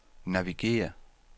navigér